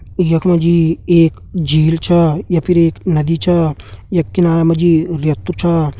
यख मा जी एक झील छ या फिर एक नदी छ यख किनारा मा जी रेतु छ।